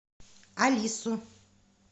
алису